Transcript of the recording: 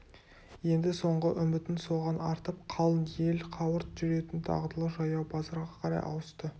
енді соңғы үмітін соған артып қалың ел қауырт жүретін дағдылы жаяу базарға қарай ауысты